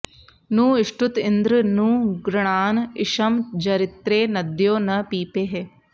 नू ष्टुत इन्द्र नू गृणान इषं जरित्रे नद्यो न पीपेः